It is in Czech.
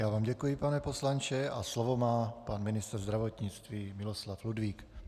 Já vám děkuji, pane poslanče, a slovo má pan ministr zdravotnictví Miloslav Ludvík.